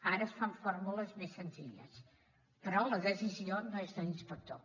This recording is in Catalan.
ara es fa amb fórmules més senzilles però la decisió no és de l’inspector